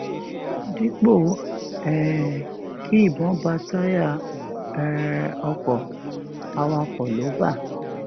dípò um kí ìbọn bá táyà um ọkọ awakọ lò bá